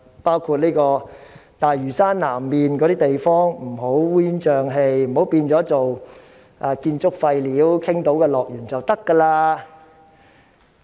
例如，大嶼山南面不能烏煙瘴氣，不能成為傾倒建築廢料的樂園。